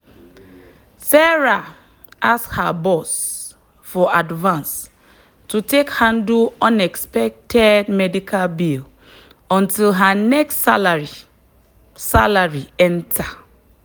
sarah ask her boss for advance to take handle unexpected medical bill until her next salary salary enter.